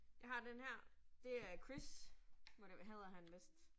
Jeg har denne her, det er Chris må det hedder han vist